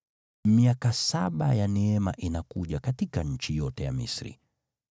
Miaka saba ya neema inakuja katika nchi yote ya Misri,